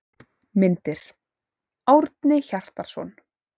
Myndir: Árni Hjartarson.